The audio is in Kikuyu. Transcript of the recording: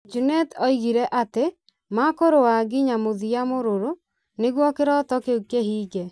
Junet oigire atĩ makũrũa nginya mũthia mũrũrũ nĩguo kĩroto kĩu kĩhinge.